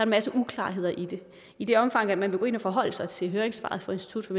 masse uklarheder i det i det omfang man vil gå ind at forholde sig til høringssvaret fra institut for